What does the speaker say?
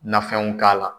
Nafɛnw k'a la